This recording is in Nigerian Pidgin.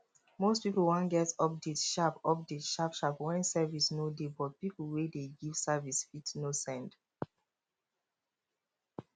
most pipo wan get update sharp update sharp sharp when service no dey but pipo wey dey give service fit no send